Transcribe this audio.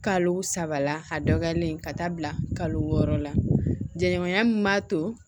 Kalo saba la a dɔgɔyalen ka taa bila kalo wɔɔrɔ la jɛɲɔgɔnya min b'a to